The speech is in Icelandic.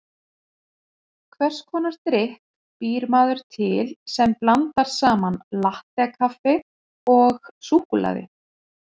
Hvers konar drykk býr maður til sem blandar saman latté-kaffi og súkkulaði?